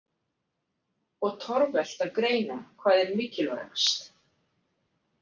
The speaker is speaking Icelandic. Og torvelt að greina hvað er mikilvægast.